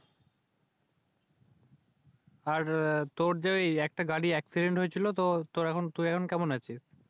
আর তুর যে একটা গাড়ি Accedint হয়েছিল। তুই এখন কেমন আছিস?